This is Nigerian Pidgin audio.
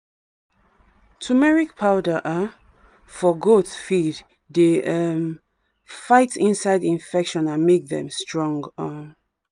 turmeric powder um for goat feed dey um fight inside infection and make dem strong. um